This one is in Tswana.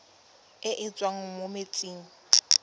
e e tswang mo metsing